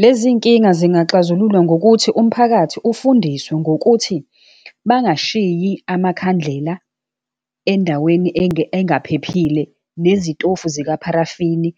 Lezinkinga zingaxazululwa ngokuthi umphakathi ufundiswe ngokuthi bangashiyi amakhandlela endaweni engaphephile, nezitofu zika parafini